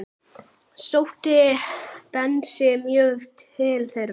Sótti Bensi mjög til þeirra.